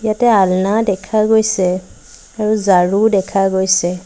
ইয়াতে আলনা দেখা গৈছে আৰু ঝাৰু দেখা গৈছে।